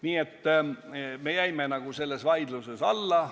Nii et me jäime selles vaidluses alla.